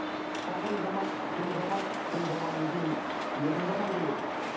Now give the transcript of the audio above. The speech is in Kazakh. қазіргі заман кең заман кең заманнан кейін еркін заман келеді